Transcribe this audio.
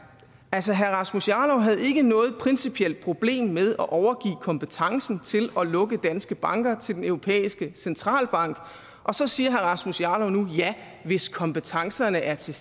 altså herre rasmus jarlov havde ikke noget principielt problem med at overgive kompetencen til at lukke danske banker til den europæiske centralbank og så siger herre rasmus jarlov nu ja hvis kompetencerne er til